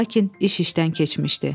Lakin iş işdən keçmişdi.